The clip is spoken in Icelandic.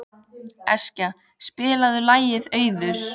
Eskja, spilaðu lagið „Auður“.